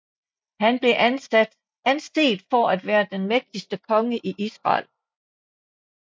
Han blev anset for at være den mægtigste konge i Israel